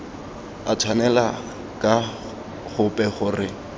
a tshwanela ka gope gore